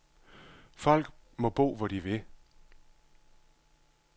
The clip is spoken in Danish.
Folk må bo, hvor de vil.